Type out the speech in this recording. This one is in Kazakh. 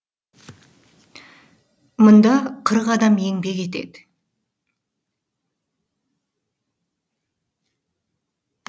мұнда қырық адам еңбек етеді